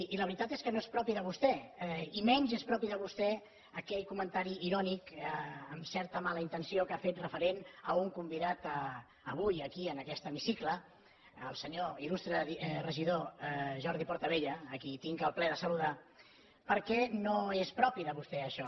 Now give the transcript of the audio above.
i la veritat és que no és propi de vostè i menys és propi de vostè aquell comentari irònic amb certa mala intenció que ha fet referent a un convidat avui aquí en aquest hemicicle al senyor il·lustre regidor jordi portabella a qui tinc el plaer de saludar perquè no és propi de vostè això